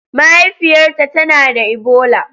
Mahaifiyarta tana da Ebola.